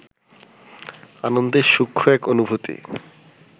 আনন্দের সূক্ষ্ম এক অনুভূতি